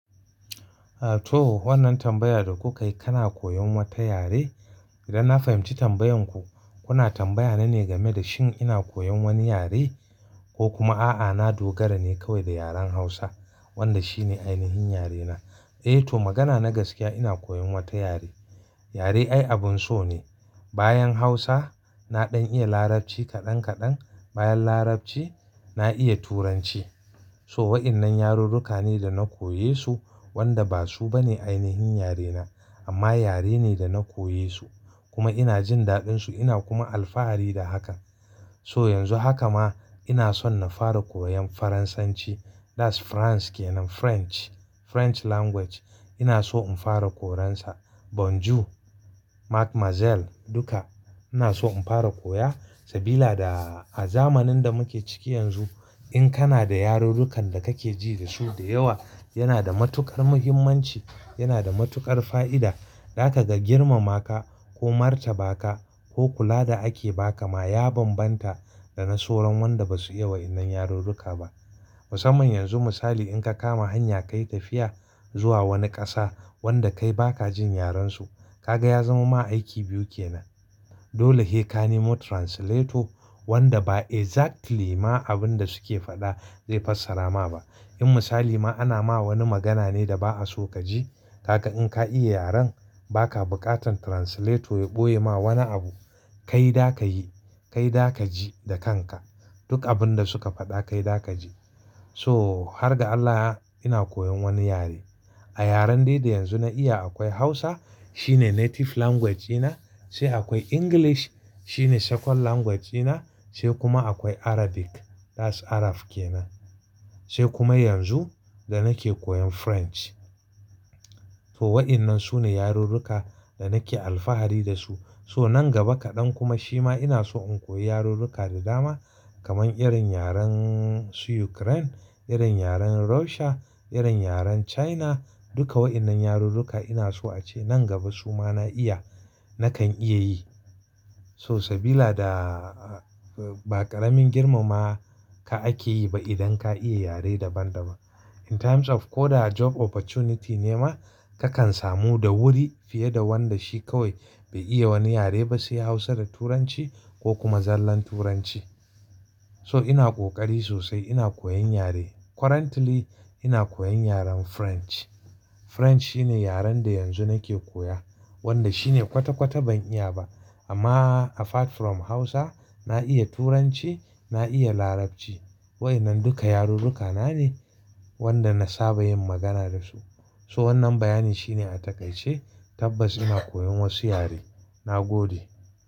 Ato wannan tambayar da kuka yi kana koyon wata yare? Idan na fahimci tambayanku, kuna tambaya na ne game da shin ina koyon wani yare, ko kuma a'a, na dogara ne kawai da yaren Hausa wanda shine ainihin yarena? Eh to magana na gaskiya ina koyon wata yare. Yare ai abun so ne. Bayan Hausa na ɗan iya Larabci kaɗan kaɗan, bayan Larabci na iya Turanci. So waɗannan yarurruka ne da na koye su wanda ba su bane ainihin yarena amma yare ne da na koye su, kuma ina jin daɗin su ina kuma alfahari da hakan. So yanzu haka ma ina son na fara koyon Faransanci that's France kenan French, French language. Ina so in fara koyon sa bonjour, duka ina so in fara koya. Sabila da a zamanin da muke ciki yanzu in kana da yarurrukan da kake ji da su da yawa yana da matuƙar muhimmanci, yana da matuƙar fa'ida. Dakaga girmama ka ko martaba ka ko kula da ake ba ka ma ya banbanta da na sauran wanda ba su iya waɗannan yarurruka ba. Musamman yanzu misali in ka kama hanya ka yi tafiya zuwa wani ƙasa wanda kai baka jin yaren su, ka ga ya zama ma aiki biyu kenan. Dole he ka nemo translator, wanda ba exactly ma abin da suke faɗa zai fassara ma ba. In misali ma ana ma wani magana ne da ba'a so ka ji kaga in ka iya yaren baka buƙatan translator ya ɓoye ma wani abu, kai da ka yi, kai da ka ji da kanka. Duk abin da suka faɗa kai da ka ji. So har ga Allah ina koyon wani yare. A yaren dai da yanzu na iya akwai Hausa shine native language na, sai akwai English shine second language na, sai kuma akwai Arabic that's Arab kenan. Sai kuma yanzu da nake koyan French. To waɗannan su ne yarurruka da nake alfahari da su. So nan gaba kaɗan kuma shima ina so in koya yarurruka da dama kamar irin yaren su Ukraine, irin yaren Russia, irin yaren China, Duka wa'innan yarurruka ina so ace nan gaba su ma na iya nakan iya yi. So sabila da, ba ƙaramin girmama ka ake yi ba idan ka iya yare daban daban. In times of ko da job opportunity ne ma kakan samu da wuri fiye da wanda shi kawai bai iya wani yare ba sai Hausa da Turanci ko kuma zallan Turanci. So ina ƙoƙari sosai ina koyon yare. Currently ina koyan yaren French. French shine yaren da yanzu nake koya wanda shine kwata kwata ban iya ba. Amma apart from Hausa na iya Turanci, na iya Larabci. Waɗannan duka yarurruka na ne wanda na saba yin magana da su. So wannan bayani shine a takaice, tabbas ina koyon wasu yare. Na gode.